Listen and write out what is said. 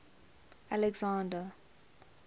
alexander